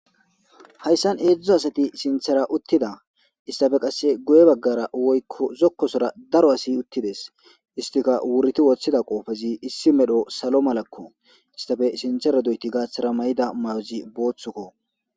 hayssan heedzdzu asati sinthera uttida istafe qasse guye baggara woykko zokkosora daro asi uttides istika wurti woththida qoofezi issi medho salo malakko istafe sinthera doyti gaaththara may'ida may'ozi booththukko